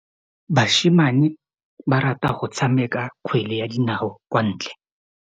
Basimane ba rata go tshameka kgwele ya dinaô kwa ntle.